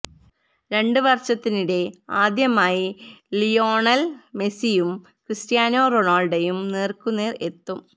രണ്ട് വര്ഷത്തിനിടെ ആദ്യമായി ലിയോണല് മെസിയും ക്രിസ്റ്റ്യാനോ റൊണാള്ഡോയും നേര്ക്കുനേര് എത്തും